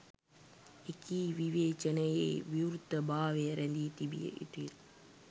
එකී විවේචනයේ විවෘතභාවය රැදී තිබිය යුතුය